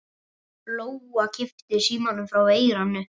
Lóa kippti símanum frá eyranu.